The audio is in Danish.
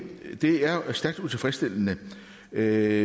er stærkt utilfredsstillende at